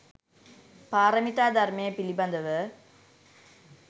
පාරමිතා ධර්මය පිළිබඳව